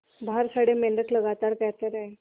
बाहर खड़े मेंढक लगातार कहते रहे